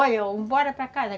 Olha, um bora para casa.